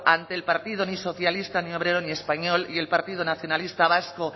ante el partido ni socialista ni obrero ni español y el partido nacionalista vasco